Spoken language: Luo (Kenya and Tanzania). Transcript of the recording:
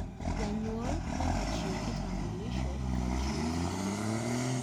janyuol nyaka chiew kitambulisho ka chif